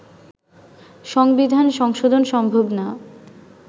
সংবিধান সংশোধন সম্ভব না